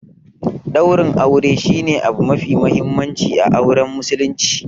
Daurin aure shi ne abu mafi mahimmanci a auren Muslunci.